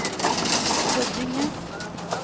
Huddinge